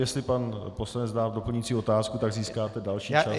Jestli pan poslanec dá doplňující otázku, tak získáte další čas.